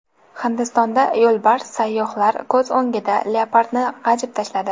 Hindistonda yo‘lbars sayyohlar ko‘z o‘ngida leopardni g‘ajib tashladi.